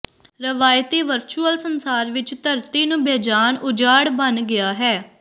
ਰਵਾਇਤੀ ਵਰਚੁਅਲ ਸੰਸਾਰ ਵਿੱਚ ਧਰਤੀ ਨੂੰ ਬੇਜਾਨ ਉਜਾੜ ਬਣ ਗਿਆ ਹੈ